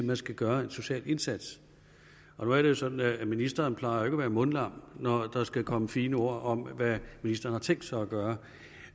der skal gøres en social indsats og nu er det jo sådan at ministeren ikke plejer at være mundlam når der skal komme fine ord om hvad ministeren har tænkt sig gøre